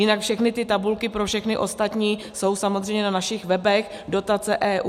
Jinak všechny ty tabulky pro všechny ostatní jsou samozřejmě na našich webech dotace.eu